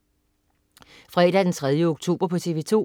Fredag den 3. oktober - TV 2: